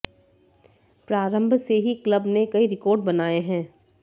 प्रारंभ से ही क्लब ने कई रिकॉर्ड बनाए हैं